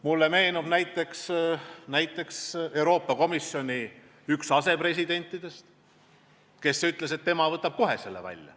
Mulle meenub, et üks Euroopa Komisjoni asepresidentidest ütles, et tema võtab kohe selle välja.